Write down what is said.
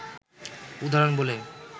উদাহরণ বলে